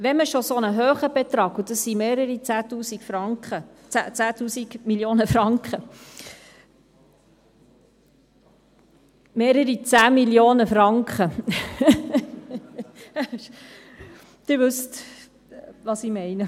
Wenn wir schon so einen hohen Betrag – es sind mehrere 10 000 Franken – nein, mehrere 10 000 Mio. Franken – ich meine, mehrere 10 Mio. Franken – Sie wissen schon, was ich meine …